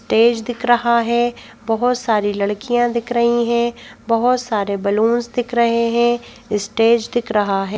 Stage दिख रहा है बहुत सारी लड़कियां दिख रही हैं बहुत सारे बलून दिख रहे हैं स्टेज दिख रहा है।